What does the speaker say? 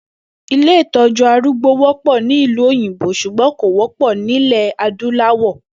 Ilé ìtó̩jú arúgbó wó̩pò̩ ní ìlú òyìnbó s̩ùgbó̩n kò wó̩pò̩ nílè̩ adúláwò̩